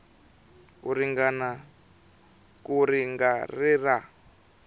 ka ri nga ri ra